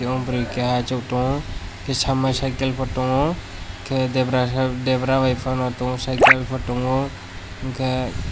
aw bwrui keha achuk tongo kisa mai cycle bo tongo tai debra bai fano tongo site o tongo unke.